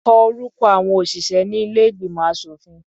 Kọ orúkọ àọn òṣìṣẹ́ ní ilé ìgbìmọ̀ aṣòfin.